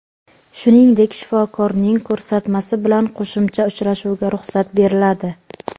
shuningdek shifokorning ko‘rsatmasi bilan qo‘shimcha uchrashuvga ruxsat beriladi.